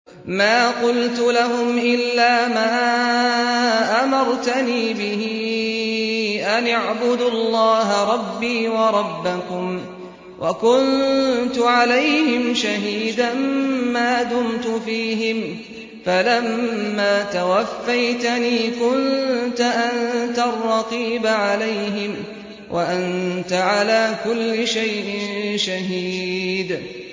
مَا قُلْتُ لَهُمْ إِلَّا مَا أَمَرْتَنِي بِهِ أَنِ اعْبُدُوا اللَّهَ رَبِّي وَرَبَّكُمْ ۚ وَكُنتُ عَلَيْهِمْ شَهِيدًا مَّا دُمْتُ فِيهِمْ ۖ فَلَمَّا تَوَفَّيْتَنِي كُنتَ أَنتَ الرَّقِيبَ عَلَيْهِمْ ۚ وَأَنتَ عَلَىٰ كُلِّ شَيْءٍ شَهِيدٌ